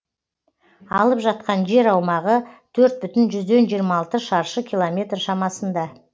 алып жатқан жер аумағы төрт бүтін жүзден жиырма алты шаршы километр шамасында